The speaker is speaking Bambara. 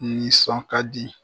Nisɔn ka di